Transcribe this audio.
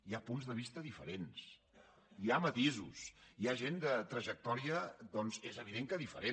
hi ha punts de vista diferents hi ha matisos hi ha gent de trajectòria doncs és evident que diferent